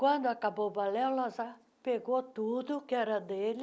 Quando acabou o balé, o Lazar pegou tudo que era dele